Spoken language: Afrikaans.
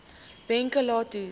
weke lank hoes